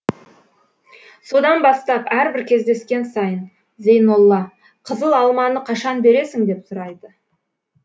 содан бастап әрбір кездескен сайын зейнолла қызыл алманы қашан бересің деп сұрайды